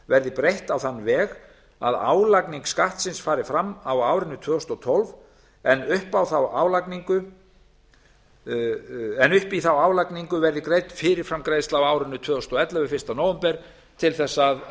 verði breytt á þann veg að álagning skattsins fari fram á árinu tvö þúsund og tólf en upp í þá álagningu verði greidd fyrirframgreiðsla á árinu tvö þúsund og ellefu fyrsta nóvember til